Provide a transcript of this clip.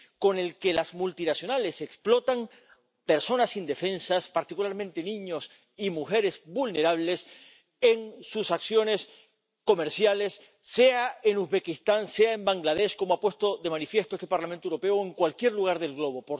con el que las multinacionales explotan a personas indefensas —particularmente niños y mujeres vulnerables— en sus acciones comerciales, sea en Uzbekistán, sea en Bangladés —como ha puesto de manifiesto este Parlamento Europeo—, o en cualquier lugar del globo.